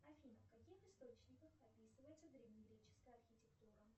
афина в каких источниках описывается древнегреческая архитектура